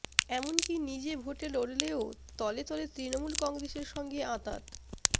এমনকি নিজে ভোটে লড়লেও তলেতলে তৃণমূল কংগ্রেসের সঙ্গে আঁতাত